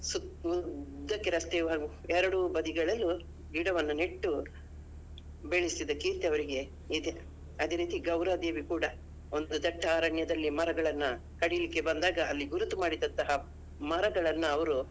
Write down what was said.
ಸುತ್~ ಉದ್ದಕ್ಕೆ ರಸ್ತೆಯ ಎರಡು ಬದಿಗಳಲ್ಲು ಗಿಡವನ್ನು ನೆಟ್ಟು ಬೆಳೆಸಿದ ಕೀರ್ತಿ ಅವರಿಗೆ ಇದೆ. ಅದೇ ರೀತಿ ಗೌರ ದೇವಿ ಕೂಡ ಒಂದು ದಟ್ಟ ಅರಣ್ಯದಲ್ಲಿ ಮರಗಳನ್ನ ಕಡಿಲಿಕ್ಕೆ ಬಂದಾಗ ಅಲ್ಲಿ ಗುರುತು ಮಾಡಿದಂತಹ ಮರಗಳನ್ನ ಅವರು.